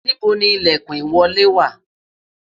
níbo ni ilekun ìwọlé wa?